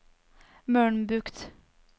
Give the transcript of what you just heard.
Mølnbukt